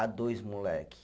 a dois moleque.